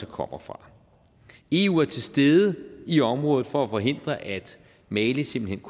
kommer fra eu er til stede i området for at forhindre at mali simpelt